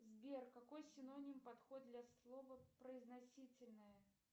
сбер какой синоним подходит для слова произносительные